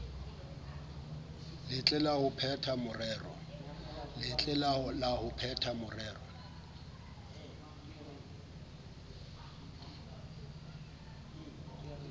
letle la ho phetha morero